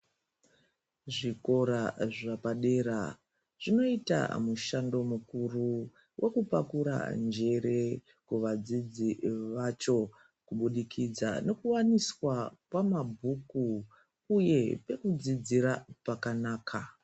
Zvikora zvepadera zvinoita mushando mukuru wekupakura njere kuvadzidzi vacho kubudikidza nokuwaniswa kwamabhuku uye nekudzidzira pakanaka.